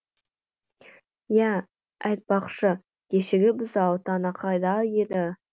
я айтпақшы кешегі бұзау тана қайда еді